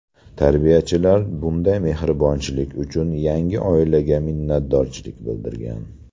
Tarbiyachilar bunday mehribonchilik uchun yangi oilaga minnatdorchilik bildirgan.